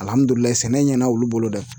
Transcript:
Alihamudulila sɛnɛ ɲɛna olu bolo dɛ